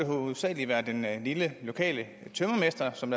hovedsagelig være den lille lokale tømrermester som